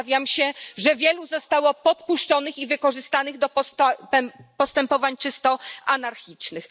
Obawiam się, że wielu zostało podpuszczonych i wykorzystanych do postępowań czysto anarchistycznych.